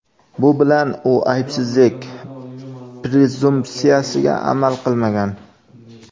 Bu bilan u aybsizlik prezumpsiyasiga amal qilmagan.